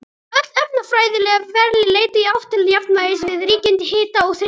Öll efnafræðileg ferli leita í átt til jafnvægis við ríkjandi hita og þrýsting.